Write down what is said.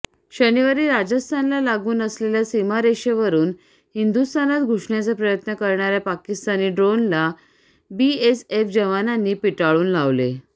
शनिवारी राजस्थानला लागून असलेल्या सीमारेषेवरून हिंदुस्थानात घुसण्याचा प्रयत्न करणाऱ्या पाकिस्तानी ड्रोनला बीएसएफ जवानांनी पिटाळून लावले